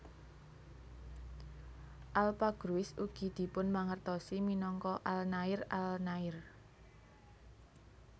Alpha Gruis ugi dipunmangertosi minangka Alnair Al Nair